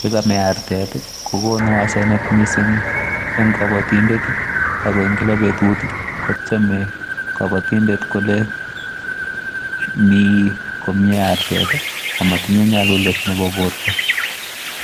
yekamee artet kokonu asenet missing en kobotindet ako en kila betut kotyeme kabotindet kole mi komye artet amotinye nyalulet nebo borto.